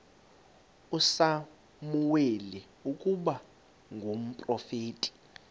usamuweli ukuba ngumprofeti